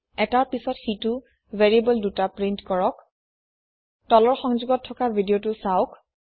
এটাৰ পাছত সিতো ভেৰিয়েবোল ২টা প্ৰীন্ট কৰক তলৰ সংযোগত থকা ভিদিয়তো চাওক